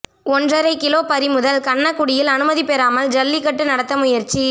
ஒன்றரை கிலோ பறிமுதல் கண்ணக்குடியில் அனுமதி பெறாமல் ஜல்லிக்கட்டு நடத்த முயற்சி